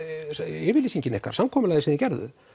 yfirlýsingin ykkar samkomulagið sem þið gerðuð